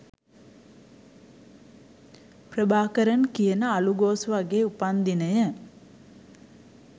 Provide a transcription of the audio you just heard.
ප්‍රභාකරන් කියන අළුගෝසුවගේ උපන් දිනය